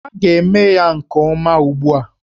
Ha ga-eme ya nke ọma ugbu a!